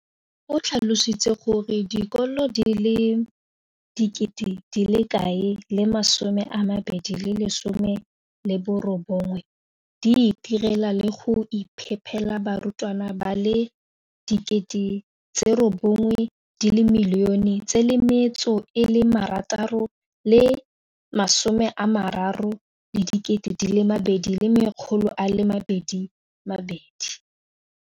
O tlhalositse gore dikolo di le 20 619 di itirela le go iphepela barutwana ba le 9 032 622 ka dijo go ralala naga letsatsi le lengwe le le lengwe.